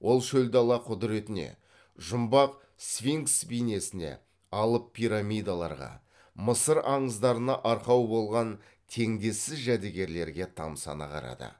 ол шөл дала құдіретіне жұмбақ сфинкс бейнесіне алып пирамидаларға мысыр аңыздарына арқау болған теңдессіз жәдігерлерге тамсана қарады